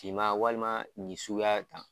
Finma walima nin suguya tan